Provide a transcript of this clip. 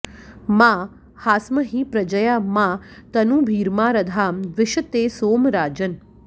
मा हास्महि प्रजया मा तनूभिर्मा रधाम द्विषते सोम राजन्